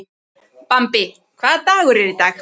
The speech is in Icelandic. Bambi, hvaða dagur er í dag?